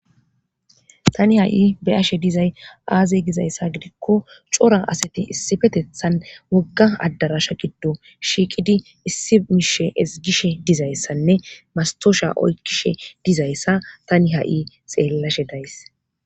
tani ha7i be7izay aaze gizayssa gidikko cora asati issipethan wogga addaraasha giddo shiiqidi issi miishi ezggishe dizayssanne masttoosha oykkishe dizayssa tani ha7i xeellashe days.